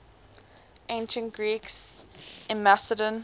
ancient greeks in macedon